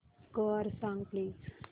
score सांग please